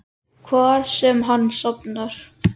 Hvar sem hann sofnar.